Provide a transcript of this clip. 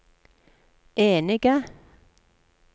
enige